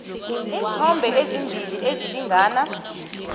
iinthombe ezimbili ezilingana